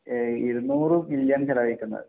എഹ് ഇരുനൂറ് ബില്യൺ ചെലവഴിക്കുന്നത്